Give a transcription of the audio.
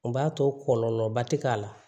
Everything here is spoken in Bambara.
O b'a to kɔlɔlɔba tɛ k'a la